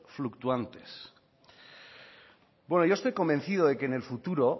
fluctuantes bueno yo estoy convencido de que en el futuro